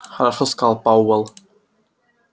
хорошо сказал пауэлл